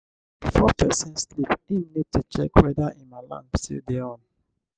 before person sleep im need to check weda im alarm still dey on